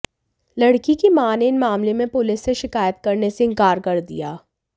लड़की की मां ने इस मामले में पुलिस से शिकायत करने से इनकार कर दिया